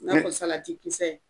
I n'a fɔ salati kisɛ